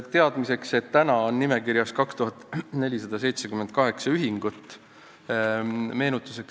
Teadmiseks, et täna on seal nimekirjas 2478 ühingut.